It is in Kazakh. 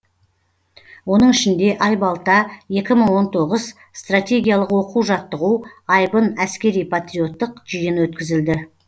оның ішінде айбалта екі мың он тоғыз стратегиялық оқу жаттығу айбын әскери патриоттық жиын өткізілді